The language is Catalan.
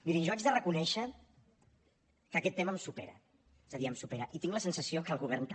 mirin jo haig de reconèixer que aquest tema em supera és a dir em supera i tinc la sensació que al govern també